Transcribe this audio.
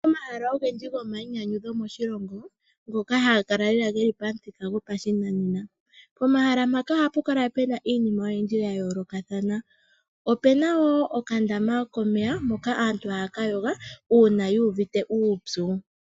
Omahala ogendji goma yi nyanyudho moshilongo ngoka haga kala geli pamuthika gopashinanena. Pomahala mpoka ohapu kala pena iinima oyindji ya yoolakathana. Opena wo okandama komeya moka aantu haya ka yoga uuna yu uvite uupyu.